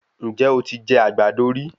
Ǹjẹ́ o ti jẹ àgbàdo rí?